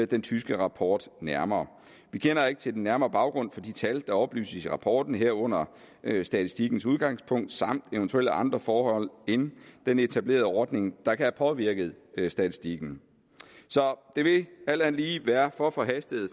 den tyske rapport nærmere vi kender ikke til den nærmere baggrund for de tal der oplyses i rapporten herunder statistikkens udgangspunkt samt eventuelle andre forhold end den etablerede ordning der kan have påvirket statistikken så det ville alt andet lige være for forhastet